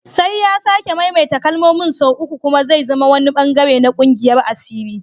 Sai ya sake maimaita kalmomin sau uku kuma zai zama wani bangare na kungiyar asiri